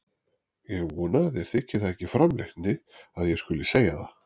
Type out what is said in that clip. Ég vona að þér þyki það ekki framhleypni að ég skuli segja það.